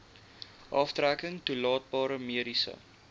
aftrekking toelaatbare mediese